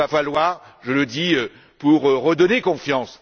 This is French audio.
Mais il va falloir, je le dis, pour redonner confiance...